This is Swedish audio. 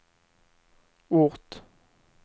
ort